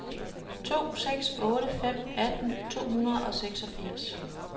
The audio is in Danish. to seks otte fem atten to hundrede og seksogfirs